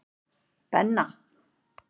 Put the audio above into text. Benna